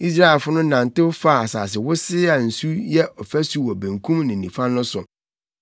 Israelfo no nantew faa asase wosee a nsu yɛ ɔfasu wɔ benkum ne nifa no so.